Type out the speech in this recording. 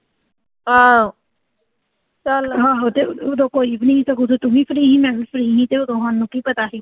ਆਹੋ ਉਦੋਂ ਕੋਈ ਵੀ ਨੀਂ ਤੇ ਉਦੋਂ ਤੂੰ ਵੀ ਫਰੀ ਸੀ ਤੇ ਮੈਂ ਵੀ ਫਰੀ ਸੀ ਤੇ ਉਦੋਂ ਸਾਨੂੰ ਕੀ ਪਤਾ ਸੀ।